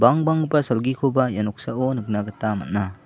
bangbanggipa salgikoba ia noksao nikna gita man·a.